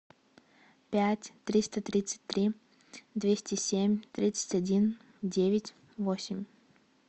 пять триста тридцать три двести семь тридцать один девять восемь